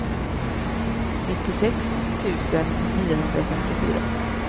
nittiosex tusen niohundrafemtiofyra